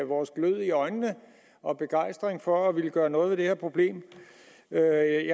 vores glød i øjnene og begejstringen for at ville gøre noget ved det her problem jeg